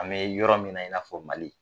An bɛ yɔrɔ min i n'a fɔ Mali